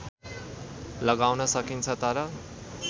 लगाउन सकिन्छ तर